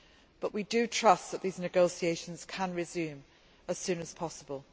But we trust that these negotiations can resume as soon as possible.